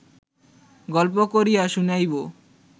গল্প করিয়া শুনাইব